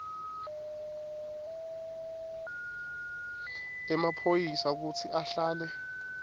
emaphoyisa kutsi ahlale